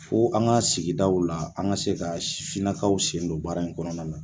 Fo an ka sigidaw la an ka se ka sifin nakaw sen don baara in kɔnɔna na.